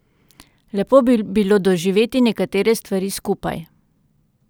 Lepo bi bilo doživeti nekatere stvari skupaj.